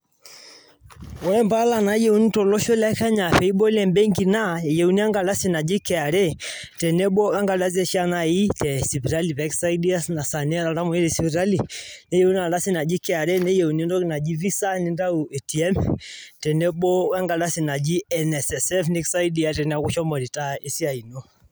koree mpaala nayieuni to loosho le kenya piibol embenki naa keyeuni kra teneboo wee mpaalai ee sipitali nikisaidia naii teniaa oltamweyiai neyieuni entoki naaji visa nintau ATM tenenebo wee nkardasu najii nssf nikisaidia tenilo retire